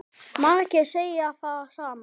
Fé sagt hafa fennt.